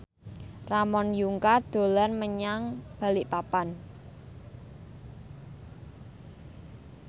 Ramon Yungka dolan menyang Balikpapan